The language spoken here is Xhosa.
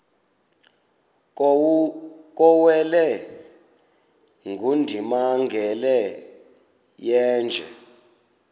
kuwele ongundimangele yeenje